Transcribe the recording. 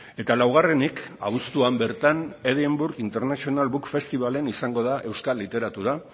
eta laugarrenik abuztuan bertan edinburgh international book festivalen izango da euskal literatura